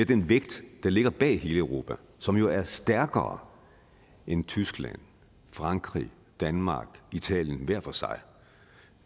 den vægt der ligger bag hele europa som jo er stærkere end tyskland frankrig danmark italien hver for sig